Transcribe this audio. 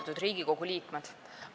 Austatud Riigikogu liikmed!